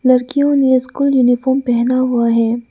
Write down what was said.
लड़कियों ने school uniform पहना हुआ है।